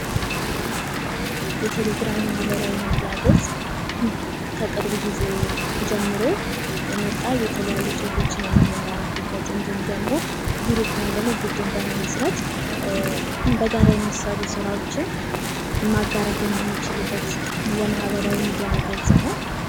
የቴሌግራም ማህበራዊ ሚዲያ ገጽ ከቅርብ ጊዜ ጀምሮ የመጣ የተለያዩ ጽሑፎችን የምንላላክበት እንድሁም ደግሞ ግሩፕ ወይም ደግሞ ቡድን ለመመስረት በጋራ የሚሰሩ ስራዎችን ማጋራት የምንችልበት የማህበራዊ ሚዲያ ገጽ ነው።